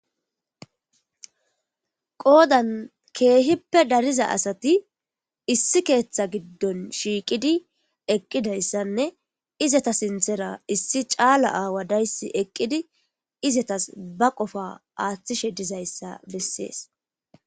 qoodan keehippe dariza asati issi keeththa giddon shiiqidi eqqidayssanne izata sinthera issi caala aawa dayssi eqqidi izatas ba qofa aaththishe dizayssa bessees